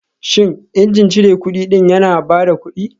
Shin injin cire kudi ɗin yana ba da kuɗi